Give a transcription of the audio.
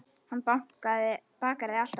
Hann bakar þig alltaf.